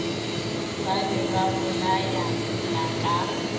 ba be ba bolayana ka